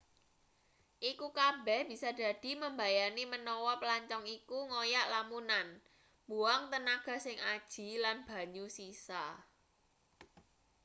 iku kabeh bisa dadi mbebayani menawa plancong iku ngoyak lamunan mbuang tenaga sing aji lan banyu sisa